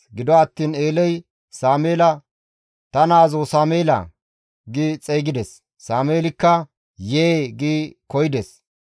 Gido attiin Eeley Sameela, «Ta naazoo Sameela!» gi xeygides. Sameelikka, «Yee» gi koyides.